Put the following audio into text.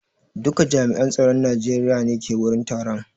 Duka jami'an tsaron Najeriya ne ke wurin taron?